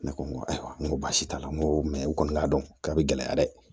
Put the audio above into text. Ne ko n ko ayiwa n ko baasi t'a la n ko u kɔni k'a dɔn ka bi gɛlɛya dɛ